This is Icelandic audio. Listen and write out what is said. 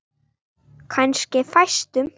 Kannski fæstum.